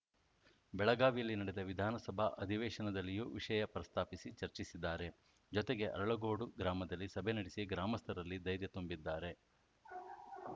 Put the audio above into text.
ಬೆಳಗಾವಿಯಲ್ಲಿ ನಡೆದ ವಿಧಾನಸಭಾ ಅವೇಶನದಲ್ಲಿಯೂ ವಿಷಯ ಪ್ರಸ್ತಾಪಿಸಿ ಚರ್ಚಿಸಿದ್ದಾರೆ ಜೊತೆಗೆ ಅರಳಗೋಡು ಗ್ರಾಮದಲ್ಲಿ ಸಭೆ ನಡೆಸಿ ಗ್ರಾಮಸ್ಥರಲ್ಲಿ ಧೈರ್ಯ ತುಂಬಿದ್ದಾರೆ